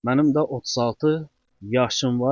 Mənim də 36 yaşım var.